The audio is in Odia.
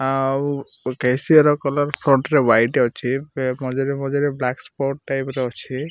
ଆଉ କେସିଅର କଲର ଫ୍ରଣ୍ଟ ରେ ହ୍ୱାଇଟ ଅଛି ପେ ମଝିରେ ମଝିରେ ବ୍ଲାକ ସ୍ପଟ ଟାଇପ ର ଅଛି।